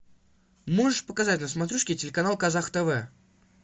можешь показать на смотрешке телеканал казах тв